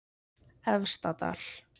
Efstadal